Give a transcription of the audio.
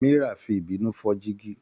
Mira fi ìbínú fọ́ jígí.